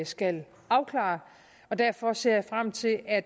skal afklare derfor ser jeg frem til at